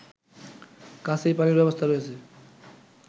কাছেই পানির ব্যবস্থা রয়েছে